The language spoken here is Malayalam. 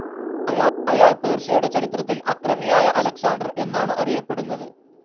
അയാൾ പേർഷ്യയുടെ ചരിത്രത്തിൽ അക്രമിയായ അലക്‌സാണ്ടർ എന്നാണു അറിയപ്പെടുന്നത്.